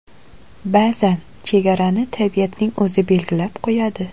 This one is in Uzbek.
Ba’zan chegarani tabiatning o‘zi belgilab qo‘yadi.